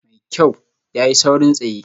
Mai kyau, ya yi saurin tsaye